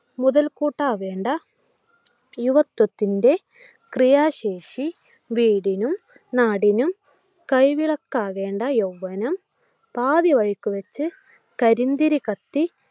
മുതൽക്കൂട്ടാവേണ്ട യുവത്വത്തിൻ്റെ ക്രിയാശേഷി വീടിനും നാടിനും കൈവിളക്കാവേണ്ട യൗവ്വനം പാതിവഴിക്ക് വയ്ച്ചു കരിന്തിരി കത്തി